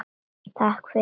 Takk fyrir